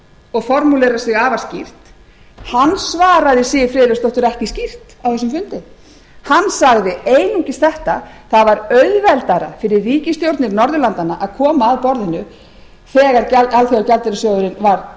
og formulerar sig afar skýrt hann svaraði siv friðleifsdóttur ekki skýrt á þessum fundi hann sagði einungis þetta það var auðveldara fyrir ríkisstjórnir norðurlandanna að koma að borðinu þegar alþjóðagjaldeyrissjóðurinn var